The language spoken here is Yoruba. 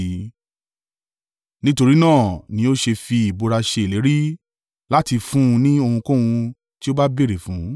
Nítorí náà ni ó ṣe fi ìbúra ṣe ìlérí láti fún un ní ohunkóhun ti ó bá béèrè fún.